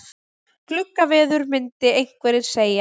Gluggaveður myndu einhverjir segja.